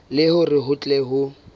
le hore ho tle ho